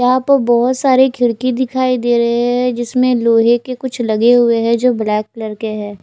यहां पर बहोत सारी खिड़की दिखाई दे रहे है जिसमें लोहे के कुछ लगे हुए हैं जो ब्लैक कलर के हैं।